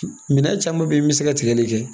Minɛn caman bɛ yen min bɛ se ka tigɛli kɛ